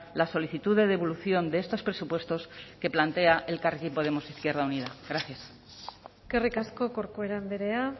la solicitud de devolución de estos presupuestos que plantea elkarrekin podemos izquierda unida gracias eskerrik asko corcuera andrea